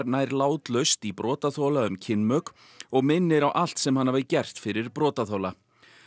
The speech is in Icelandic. nær látlaust í brotaþola um kynmök og minnir á allt sem hann hafi gert fyrir brotaþola